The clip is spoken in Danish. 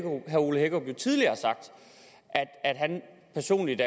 ole hækkerup tidligere har sagt at han personligt